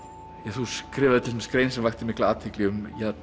þú skrifaðir til dæmis grein sem vakti mikla athygli um